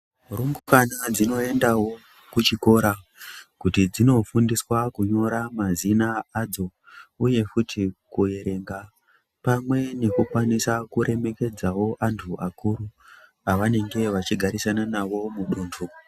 Rumbwana dzinoendawo kuchikora kuti dzindofundiswa kunyora mazina adzo Uye futi kuerenga pamwe nekukwanisa kuremekedzawo antu akuru pavanenge vachigafisanawo muduntu.